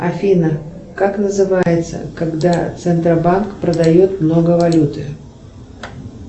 афина как называется когда центробанк продает много валюты